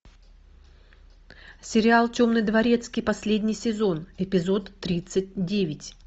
сериал темный дворецкий последний сезон эпизод тридцать девять